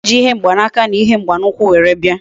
Oji ihe mgba na aka na ihe mgba na ukwu were bia